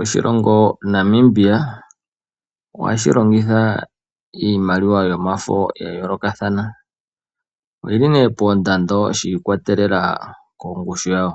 Oshilongo Namibia ohashi longitha iimaliwa yomafo ya yoolokathana. Oyili nee poondondo yi ikwatelela kongushu yawo.